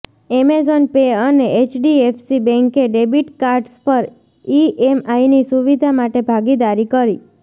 Amazon pay અને HDFC બેન્કે debit cards પર ઈએમઆઈની સુવિધા માટે ભાગીદારી કરી